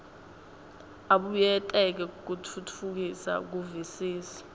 abuyekete kutfutfukisa kuvisisa